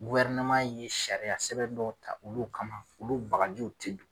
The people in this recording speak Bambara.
ye sariya sɛbɛn dɔw ta olu kama, olu bagajiw te do.